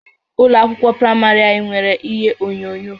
Ụlọ akwụkwọ praịmarị anyị nwere ihe onyonyo